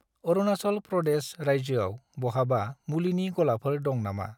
अरुनाचल प्रदेश रायजोआव बहाबा मुलिनि गलाफोर दं नामा?